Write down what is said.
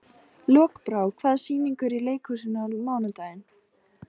Lokbrá, hvaða sýningar eru í leikhúsinu á mánudaginn?